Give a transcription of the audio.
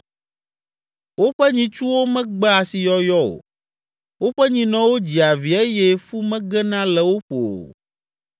Woƒe nyitsuwo megbea asiyɔyɔ o, woƒe nyinɔwo dzia vi eye fu megena le wo ƒo o.